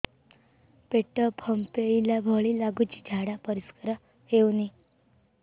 ପେଟ ଫମ୍ପେଇଲା ଭଳି ଲାଗୁଛି ଝାଡା ପରିସ୍କାର ହେଉନି